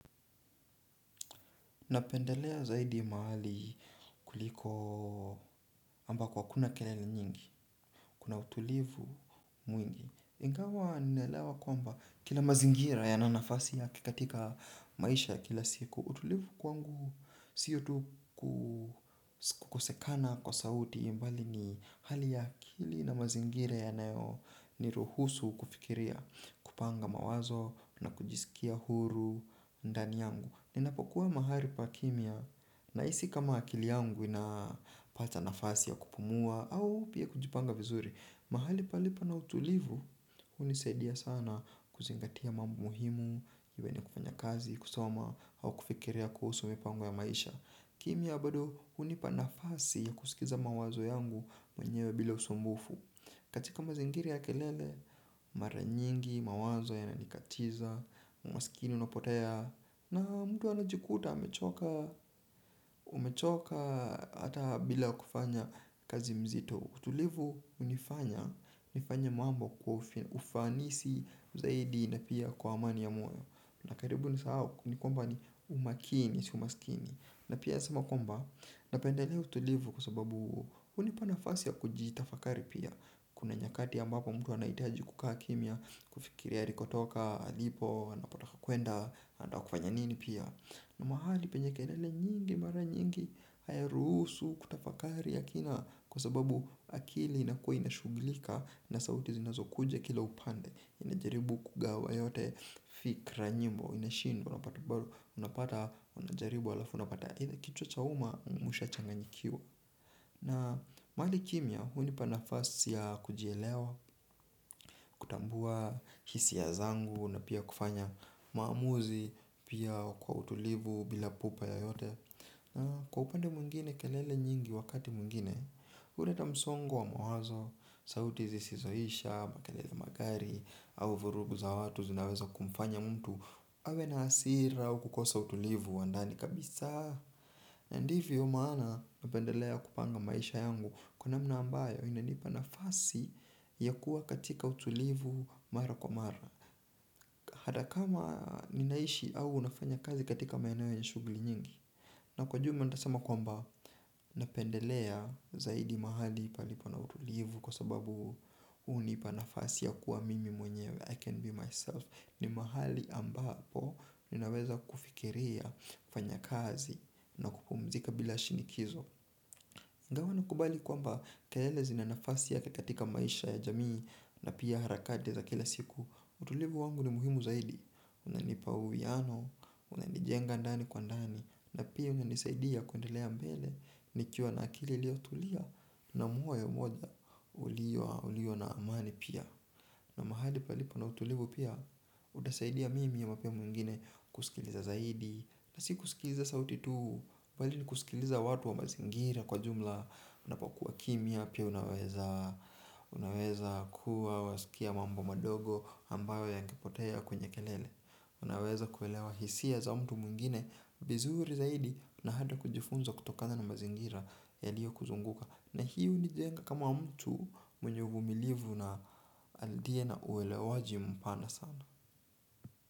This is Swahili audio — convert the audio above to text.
Napendelea zaidi mahali kuliko ambako hakuna kelele nyingi, kuna utulivu mwingi. Ingawa ninaelewa kwamba kila mazingira yana nafasi yake katika maisha ya kila siku, utulivu kwangu, sio tu kukosekana kwa sauti bali ni hali ya akili na mazingira yanayo ni ruhusu kufikiria kupanga mawazo na kujisikia huru ndani yangu. Ninapokuwa mahali pa kimya nahisi kama akili yangu inapata nafasi ya kupumua au pia kujipanga vizuri. Mahali palipo na utulivu, hunisaidia sana kuzingatia mambo muhimu, iwe ni kufanya kazi, kusoma, au kufikiria kuhusu mipango ya maisha. Kimya bado hunipa nafasi ya kusikiza mawazo yangu mwenyewe bila usumbufu. Katika mazingira ya kelele, mara nyingi, mawazo yananikatiza, umaskini unapotea, na mtu anajikuta, amechoka hata bila kufanya kazi nzito. Utulivu hunifanya, nifanye mambo kwa ufanisi zaidi na pia kwa amani ya moyo. Na karibu nisahau, ni kwamba ni umakini, si umaskini. Na pia nasema kwamba, napendelea utulivu kwa sababu hunipana nafasi ya kujitafakari pia. Kuna nyakati ambapo mtu anahitaji kukaa kimya, kufikiri alikotoka, alipo, anapotaka kuenda, anataka kufanya nini pia. Na mahali penye kelele nyingi mara nyingi, hayarusu, kutafakari ya kina, kwa sababu akili inakuwa inashugilika na sauti zinazo kuja kila upande. Inajaribu kugawa yote fikra nyimbo, inashindwa, unapata, unapata, unajaribu halafu, unapata, ile kichwa cha umma mwisho yachanganyikiwa. Na mahali kimya, hunipa nafasi ya kujielewa, kutambua hisia zangu na pia kufanya maamuzi pia kwa utulivu bila pupa yoyote. Na kwa upande mwingine kelele nyingi wakati mwingine, huleta msongo wa mawazo, sauti zisizoisha, makelele magari, au vurugu za watu zinaweza kumfanya mtu. Awe na hasira au kukosa utulivu wa ndani kabisa. Ndiyo maana napendelea kupanga maisha yangu kwa namna ambayo inanipa nafasi ya kuwa katika utulivu mara kwa mara. Hata kama ninaishi au nafanya kazi katika maeneo ya shuguli nyingi na kwa jumla nitasema kwamba napendelea zaidi mahali palipo na utulivu. Kwa sababu hunipa nafasi ya kuwa mimi mwenyewe I can be myself. Ni mahali ambapo ninaweza kufikiria kufanya kazi na kupumzika bila shinikizo. Ingawa nakubali kwamba kelele zina nafasi yake katika maisha ya jamii na pia harakati za kila siku. Utulivu wangu ni muhimu zaidi. Unanipa uwiano. Unanijenga ndani kwa ndani. Na pia unanisaidia kuendelea mbele. Nikiwa na akili iliyo tulia na moyo ulio na amani pia. Na mahali palipo na utulivu pia hunisaidia mimi ama pia mwingine kusikiliza zaidi. Na si kusikiliza sauti tu bali ni kusikiliza watu wa mazingira kwa jumla. Unapokuwa kimya pia unaweza unaweza kuwa wasikia mambo madogo ambayo yangepotea kwenye kelele. Unaweza kuelewa hisia za mtu mwingine vizuri zaidi na hata kujifunza kutokana na mazingira yaliyo kuzunguka. Na hii hunijenga kama mtu mwenye uvumilivu na aliye na uelewaji mpana sana.